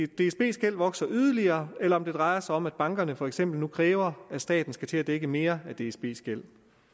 dsbs gæld vokser yderligere eller om det drejer sig om at bankerne for eksempel nu kræver at staten skal til at dække mere af dsbs gæld